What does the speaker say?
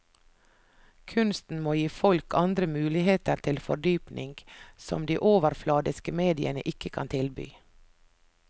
Kunsten må gi folk andre muligheter til fordypning, som de overfladiske mediene ikke kan tilby.